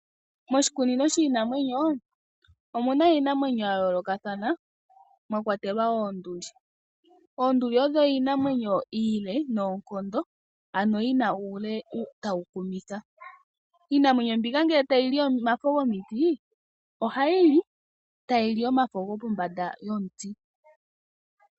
Moshikunino shinamwenyo omuna iinamwenyo ya yoolokathana mwakwatelwa oonduli. Oonduli odho iinamwenyo ile noonkondo ano yina uule tawu kumitha, iinamwenyo mbika ngele tayi li omafo gomiti ohayi li hayi li tayi li omafo gopombanda nomuti.